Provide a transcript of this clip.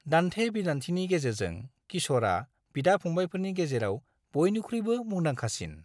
दान्थे-बिदान्थेनि गेजेरजों, किश'रा बिदा-फंबायफोरनि गेजेराव बयनिख्रुइबो मुंदांखासिन।